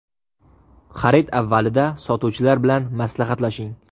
Xarid avvalida sotuvchilar bilan maslahatlashing.